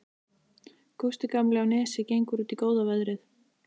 Gústi gamli á Nesi gengur út í góða veðrið.